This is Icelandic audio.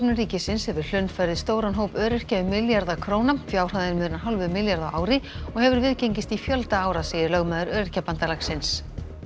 ríkisins hefur hlunnfarið stóran hóp öryrkja um milljarða króna fjárhæðin munar hálfum milljarði á ári og hefur viðgengist í fjölda ára segir lögmaður Öryrkjabandalagsins